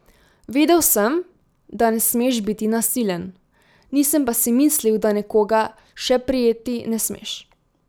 Vedel sem, da ne smeš biti nasilen, nisem pa si mislil, da nekoga še prijeti ne smeš.